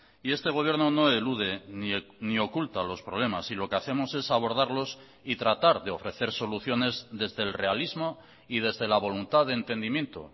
y este gobierno no elude ni oculta los problemas y lo que hacemos es abordarlos y tratar de ofrecer soluciones desde el realismo y desde la voluntad de entendimiento